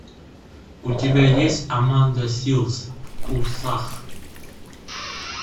у тебя есть аманда силз в курсах